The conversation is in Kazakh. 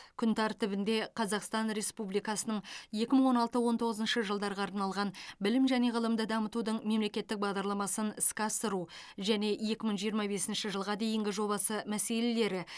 күн тәртібінде қазақстан республикасының екі мың он алты он тоғызыншы жылдарға арналған білім және ғылымды дамытудың мемлекеттік бағдарламасын іске асыру және екі мың жиырма бесінші жылға дейінгі жобасы мәселелері